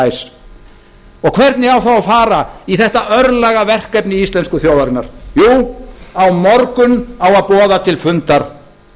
ræs hvernig á þá að fara í þetta örlagaverkefni íslensku þjóðarinnar jú á morgun á að boða til fundar